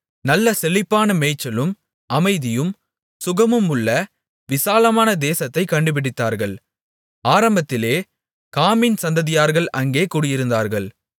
நல்ல செழிப்பான மேய்ச்சலும் அமைதியும் சுகமுமுள்ள விசாலமான தேசத்தைக் கண்டுபிடித்தார்கள் ஆரம்பத்திலே காமின் சந்ததியார்கள் அங்கே குடியிருந்தார்கள்